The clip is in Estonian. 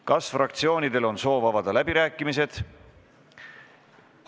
Kas fraktsioonidel on soovi avada läbirääkimisi?